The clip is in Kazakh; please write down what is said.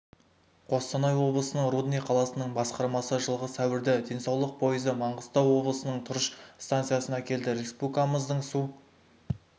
қостанай облысының рудный қаласының басқармасы жылғы сәуірде денсаулық пойызы маңғыстау облысының тұрыш станциясына келді республикамыздың су